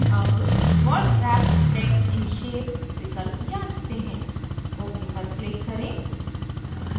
अब word wrap text in shape विकल्प जाँचते हैं